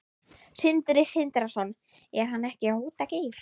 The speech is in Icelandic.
Sindri Sindrason: Er hann ekki að hóta Geir?